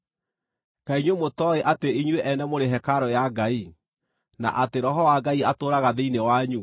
Kaĩ inyuĩ mũtooĩ atĩ inyuĩ ene mũrĩ hekarũ ya Ngai, na atĩ Roho wa Ngai atũũraga thĩinĩ wanyu?